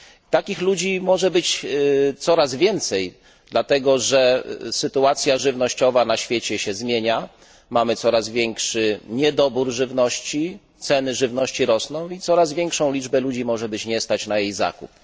Takich ludzi może być coraz więcej, dlatego że sytuacja żywnościowa na świecie się zmienia, mamy coraz większy niedobór żywności, ceny żywności rosną i coraz większa liczba ludzi nie będzie mogła sobie pozwolić na jej zakup.